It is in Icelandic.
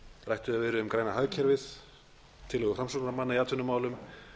rætt hefur verið um græna hagkerfið tillögur framsóknarmanna í atvinnumálum